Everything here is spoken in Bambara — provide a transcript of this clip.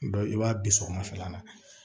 Dɔ i b'a bi sɔgɔmafɛla la